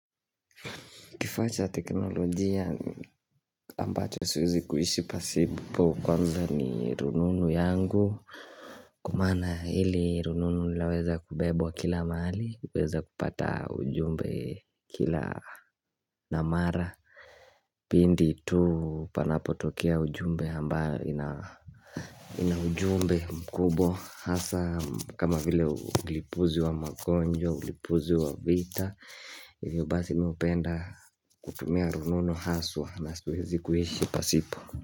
Kifaa cha teknolojia ambacho siwezi kuishi pasipo kwanza ni rununu yangu. Kwa maana hili rununu laweza kubebwa kila maali, uweza kupata ujumbe kila mara. Pindi tu panapotokea ujumbe ambao ina ujumbe mkubwa. Hasa kama vile ulipuzi wa magonjwa, ulipuzi wa vita Hivyo basi mi upenda kutumia rununu haswa na siwezi kuishi pasipo.